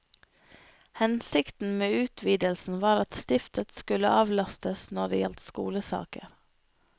Hensikten med utvidelsen var at stiftet skulle avlastes når det gjaldt skolesaker.